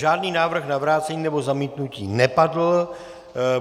Žádný návrh na vrácení nebo zamítnutí nepadl.